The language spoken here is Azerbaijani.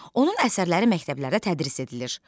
Onun əsərləri məktəblərdə tədris edilir.